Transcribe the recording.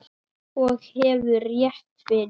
Og hefur rétt fyrir sér.